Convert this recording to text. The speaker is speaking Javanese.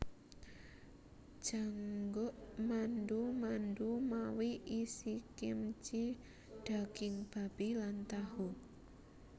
Jangguk mandu mandu mawi isikimchi daging babi lan tahu